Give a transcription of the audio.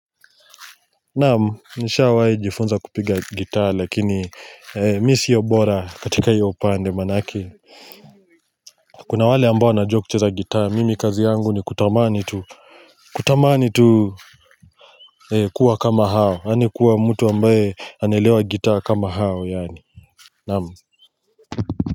Naam nishawahi jifunza kupiga gitaa lakini mimi siyo bora katika hiyo pande manake kuna wale ambao wanajua kucheza gitaa mimi kazi yangu ni kutamani tu kutamani tu kuwa kama hao ani kuwa mtu ambaye anaelewa gitaa kama hao yaani naam.